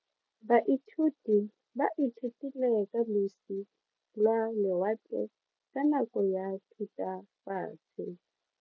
Baithuti ba ithutile ka losi lwa lewatle ka nako ya Thutafatshe.